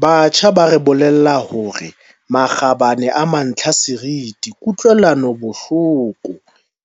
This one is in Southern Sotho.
Batjha ba re bolella hore makgabane a mantlha a seriti, ku-tlwelanobohloko